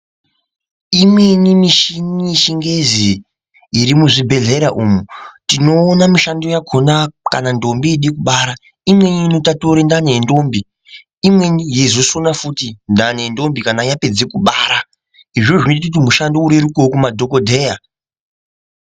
Imweni michini yechingezi iri muzvibhedhlera umu. Tinoona mishando yakona kana ndombo yode kubara. Imweni inotatura ndani yendombi, imweni yeizosona futi ndani yendombi kana yapedze kubara. Izvozvo zvinote kuti mishando irerukevo kumadhogodheya.